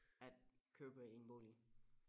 At købe en bolig